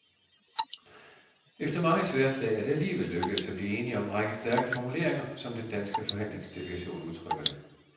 Efter mange sværdslag er det alligevel lykkedes at blive enige om en række stærke formuleringer, som den danske forhandlingsdelegation udtrykker det.